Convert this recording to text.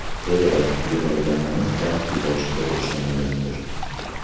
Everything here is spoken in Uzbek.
To‘g‘ri, yiqilganmiz, balki boshida o‘xshamagandir.